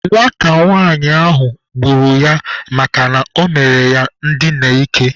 Nwata nwanyị ahụ gburu ya makana ọ mere ya ndina ike.